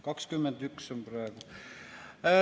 21 on praegu.